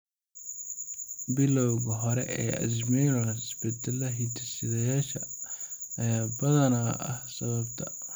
Bilowga hore ee Alzheimers, isbeddelka hidde-sideyaasha ayaa badanaa ah sababta.